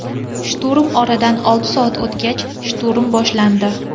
Shturm Oradan olti soat o‘tgach, shturm boshlandi.